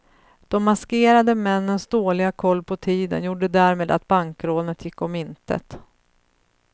De maskerade männens dåliga koll på tiden gjorde därmed att bankrånet gick om intet.